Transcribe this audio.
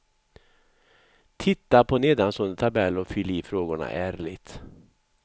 Titta på nedanstående tabell och fyll i frågorna ärligt.